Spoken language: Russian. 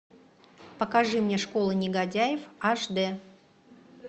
покажи мне школа негодяев аш дэ